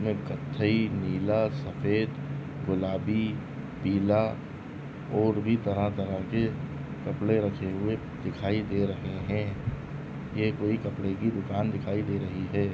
--में कत्थई नीला सफेद गुलाबी पीला और भी तरह तरह के कपड़े रखे हुए दिखाई दे रहे है ये कोई कपड़े की दुकान दिखाई दे रही है।